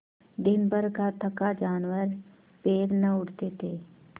दिनभर का थका जानवर पैर न उठते थे